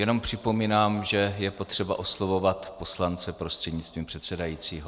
Jenom připomínám, že je potřeba oslovovat poslance prostřednictvím předsedajícího.